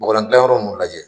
Mɔgɔlan dilayɔrɔ nunu ajɛ.